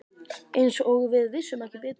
Eins og við vissum ekki betur.